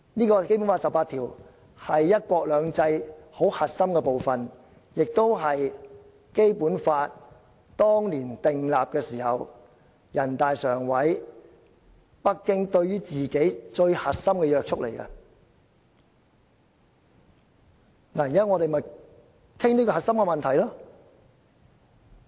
第十八條是"一國兩制"的核心部分，亦是《基本法》當年訂立時人大常委會及北京對自己施加最核心的約束力，我們現在便是討論這個核心問題。